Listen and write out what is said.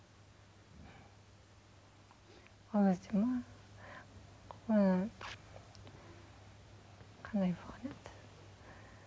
ол кезде ме м қандай болған еді